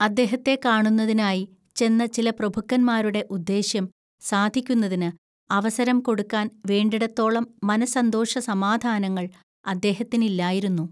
അദ്ദേഹത്തെ കാണുന്നതിനായി ചെന്ന ചില പ്രഭുക്കന്മാരുടെ ഉദ്ദേശ്യം സാധിക്കുന്നതിന് അവസരം കൊടുക്കാൻ വേണ്ടിടത്തോളം മനസ്സന്തോഷസമാധാനാങ്ങൾ അദ്ദേഹത്തിനില്ലായിരുന്നു